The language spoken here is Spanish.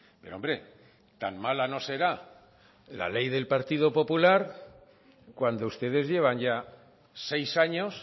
pero hombre tan mala no será la ley del partido popular cuando ustedes llevan ya seis años